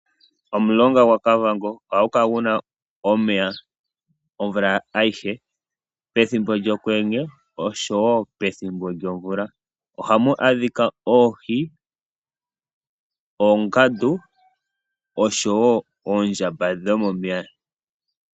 Omulonga gwaKavango ohagu kala guna omeya omvula ayishe, pethimbo lyokwenye oshowo pethimbo lyomvula. Ohamu adhika oohi, oongandu oshowo oondjamba dhomomeya.